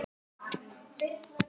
Lífið er til að njóta.